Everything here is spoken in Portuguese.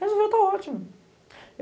Resolver está ótimo.